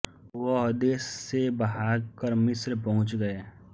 वह देश से भाग कर मिस्त्र पहुंच गए